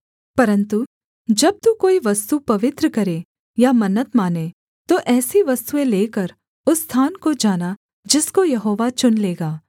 परन्तु जब तू कोई वस्तु पवित्र करे या मन्नत माने तो ऐसी वस्तुएँ लेकर उस स्थान को जाना जिसको यहोवा चुन लेगा